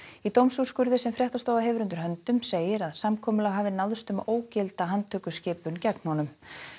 í dómsúrskurði sem fréttastofa hefur undir höndum segir að samkomulag hafi náðst um að ógilda handtökuskipun gegn honum